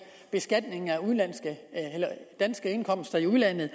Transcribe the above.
beskatningen af danske indkomster i udlandet